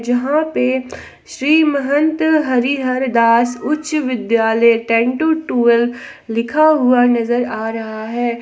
यहां पे श्री महंत हरिहरदास उच्च विद्यालय टेन टू ट्वेल्व लिखा हुआ नजर आ रहा है।